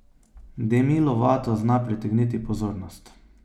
Demi Lovato zna pritegniti pozornost.